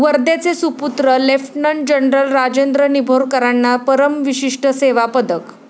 वर्ध्याचे सुपुत्र lieutenant general Rajendra निंभोरकरांना परमविशिष्ट सेवा पदक